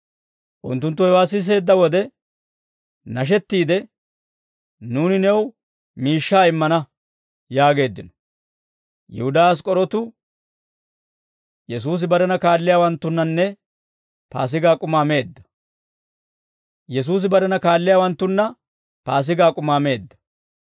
Unttunttu hewaa siseedda wode nashettiide, «Nuuni new miishshaa immana» yaageeddino; Yihudaa Ask'k'orootu Yesuusa aatsiide immanaw injjetiyaa wodiyaa wochchee.